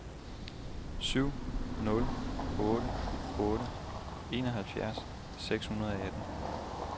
syv nul otte otte enoghalvfjerds seks hundrede og atten